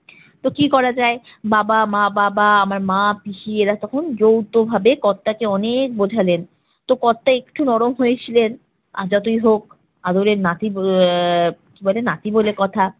তো কি করা যায়? বাবা মা-বাবা আমার মা, পিসি এরা তখন যৌথভাবে কর্তাকে অনেক বোঝালেন। তো কর্তা একটু নরম হয়েছিলেন, আর যতই হোক আদরের নাতি ব~ আহ কি বলে নাতি বলে কথা।